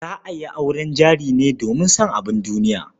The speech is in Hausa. Za a yi auren jari ne domin son abun duniya.